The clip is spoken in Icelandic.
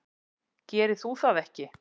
Gerir þú það ekki?